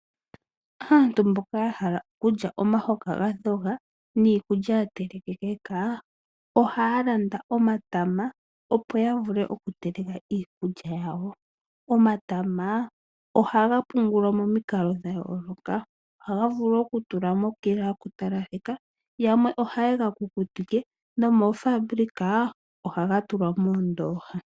Aantu mboka yahala kulya omahoka ga dhoga niikulya yatelekekeka ohaya landa omatama opo yavule oku teleka iikulya yawo. Omatama ohaga pungulwa momikalo dhayooloka ohaga vulu okutulwa mokila yokutalaleka, yamwe ohayega kukutike nomoofaabulika ohaga tulwa moondooha.